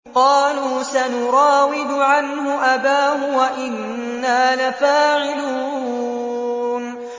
قَالُوا سَنُرَاوِدُ عَنْهُ أَبَاهُ وَإِنَّا لَفَاعِلُونَ